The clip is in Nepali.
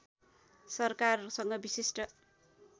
सरकारसँग विशिष्ट